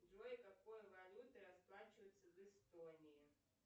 джой какой валютой расплачиваются в эстонии